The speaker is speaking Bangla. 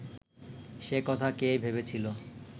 সে কথা কে ভেবেছিল